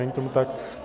Není tomu tak.